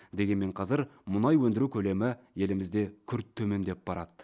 дегенмен қазір мұнай өндіру көлемі елімізде күрт төмендеп барады